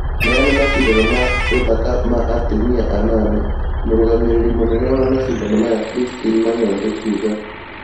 Maya nĩ macindano ma ũthaka ma atumia anana"Mũrũgamĩrĩri mũnene wa macindano maya Christine Mayonde kuuga